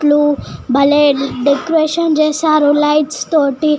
Clue బలే decoration చేస్తారు lights తోటి.